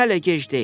Nə hələ gec deyil.